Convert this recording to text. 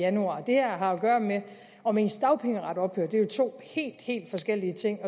januar det her har gøre med om ens dagpengeret ophører og det er jo to helt helt forskellige ting